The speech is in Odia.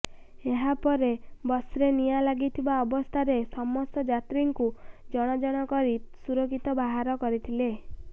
ଏହାପରେ ବସ୍ରେ ନିଆଁ ଲାଗିବା ଅବସ୍ଥାରେ ସମସ୍ତ ଯାତ୍ରୀଙ୍କୁ ଜଣ ଜଣ କରି ସୁରକ୍ଷିତ ବାହାର କରିଥିଲେ